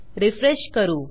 refresh करू